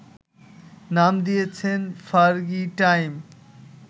নাম দিয়েছেন, Fergie time